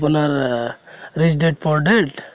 আপোনাৰ rich dad poor dad?